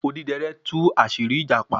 Odidẹrẹ́ tú àṣírí ìjàpá